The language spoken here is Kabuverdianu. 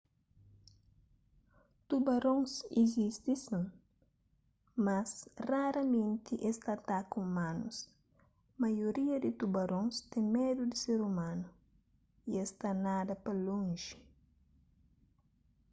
tubarons izisti sin mas raramenti es ta ataka umanus maioria di tubarons ten medu di ser umanu y es ta nada pa lonji